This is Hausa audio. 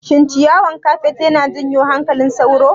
Shin ciyawan kafet yana janyo hankalin sauro?